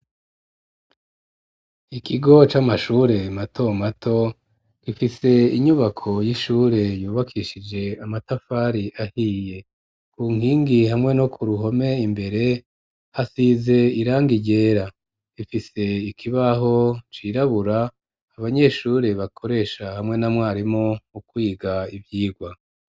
Ikigo c'amashure mato mato, gifise inyubako y'ishure yubakishije amatafari ahiye, ku nkingi hamwe no ku ruhome imbere hasize irangi ryera, ifise ikibaho cirabura abanyeshure bakoresha hamwe na mwarimu mukwiga ivyigwa.